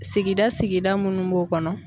Sigida sigida munnu b'o kɔnɔ.